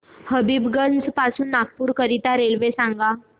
हबीबगंज पासून नागपूर करीता रेल्वे सांगा